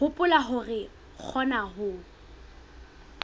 hopola hore re kgona ho